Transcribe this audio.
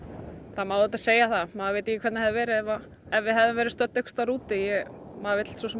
það má auðvitað segja það maður veit ekki hvernig þetta hefði verið ef ef við hefðum verið einhverstaðar úti maður vill